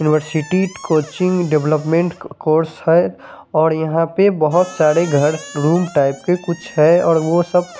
university coaching development course हें और यहा पे बोहोत सारे घर रूम टाइप के कुछ हें और वो सब--